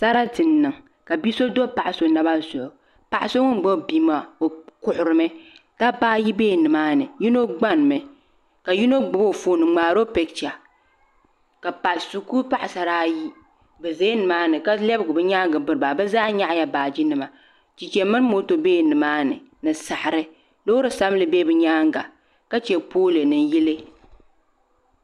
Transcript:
Sarati n niŋ ka bia so do paɣa so naba zuɣu paɣa so ŋun gbubi bia maa o kuhurimi dabba ayi biɛla nimaani yino gbani mi ka yino gbubi o foon n ŋmaaro picha ka shikuru paɣasara ayi bi ʒɛla nimaani ka lɛbigi bi nyaangi biriba bi zaa nyaɣala baaji nima chɛchɛ mini moto ʒɛla nimaani ni saɣari chɛchɛ mini moto biɛla nimaani ka chɛ pool ni yili